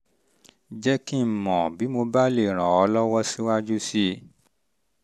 jẹ́ kí n mọ̀ bí mo bá lè ràn um ọ́ lọ́wọ́ síwájú um sí i